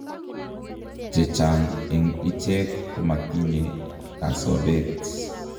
Chechang' eng' ichek komatinye kasobeet